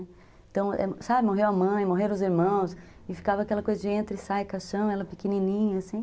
Então, sabe, morreu a mãe, morreram os irmãos, e ficava aquela coisa de entra e sai caixão, ela pequenininha, assim.